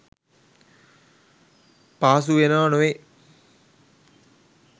පහසු වෙනව නොවෑ